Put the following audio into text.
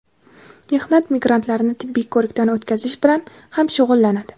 mehnat migrantlarini tibbiy ko‘rikdan o‘tkazish bilan ham shug‘ullanadi.